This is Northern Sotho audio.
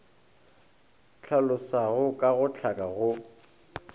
hlalosago ka go hlaka go